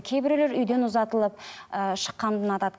кейбіреулер үйден ұзатылып ыыы шыққанды ұнатады